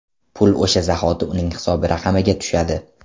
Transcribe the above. Pul o‘sha zahoti uning hisob raqamiga tushadi.